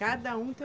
Cada um tem